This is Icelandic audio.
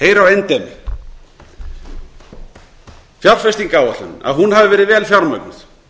heyr á endemi fjárfestingaráætlun að hún hafi verið vel fjármögnuð